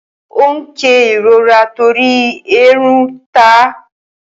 Ó ń ké ìrora torí èèrùn ta á.